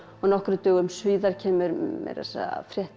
nokkrum dögum síðar kemur meira að segja frétt í